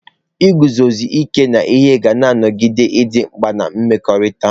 Iguzosi ike n'ihe ga-anọgide dị mkpa na mmekọrịta.